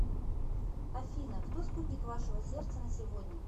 афина кто спутник вашего сердца на сегодня